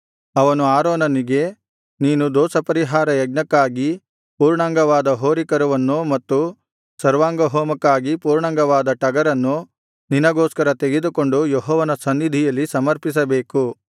ಅವನು ಆರೋನನಿಗೆ ನೀನು ದೋಷಪರಿಹಾರ ಯಜ್ಞಕ್ಕಾಗಿ ಪೂರ್ಣಾಂಗವಾದ ಹೋರಿಕರುವನ್ನು ಮತ್ತು ಸರ್ವಾಂಗಹೋಮಕ್ಕಾಗಿ ಪೂರ್ಣಾಂಗವಾದ ಟಗರನ್ನು ನಿನಗೋಸ್ಕರ ತೆಗೆದುಕೊಂಡು ಯೆಹೋವನ ಸನ್ನಿಧಿಯಲ್ಲಿ ಸಮರ್ಪಿಸಬೇಕು